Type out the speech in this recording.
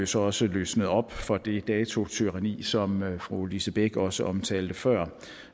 så også løsnet op for det datotyranni som fru lise bech også omtalte før